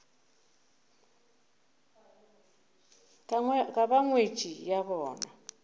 ka ba ngwetši ya bona